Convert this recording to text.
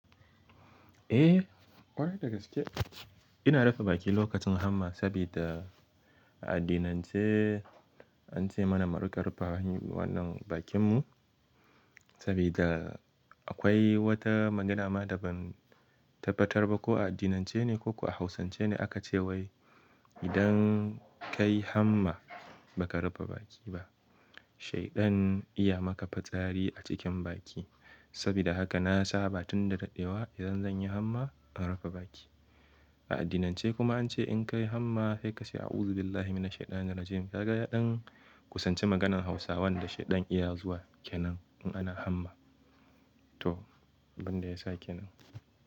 Eh, ƙwarai da gaske. Ina rufe baki lokacin hamma, sabida a addinance an ce mana mu riƙa rufe wannan bakinmu sabida akwai wata magana ma da ban tabbatar ba ko a addinance ne, ko ko a Hausance ne aka ce wai idan ka yi hamma ba ka rufe baki ba, shaidan iya maka fitsari a cikin baki. Sabida haka, na saba tun da daɗewa idan zan yi hamma in rufe baki. A addinance kuma an ce in ka yi hamma sai ka ce "Audhubillahi minashaiɗani rajim" ka ga ya ɗan kusanci maganan Hausawan da shaiɗan iya zuwa kenan in ana hamma to, banda ya sa kenan.